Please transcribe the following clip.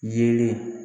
Yelen